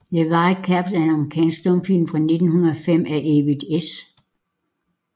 The White Caps er en amerikansk stumfilm fra 1905 af Edwin S